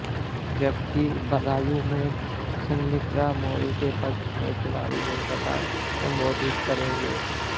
जबकि बदायूं में संघमित्रा मौर्या के पक्ष में चुनावी जनसभा को संबोधित करेंगे